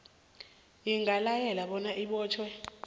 ingalayela bona abotjhwe